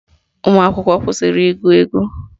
Ụmụakwụkwọ kwụsịrị igwu egwu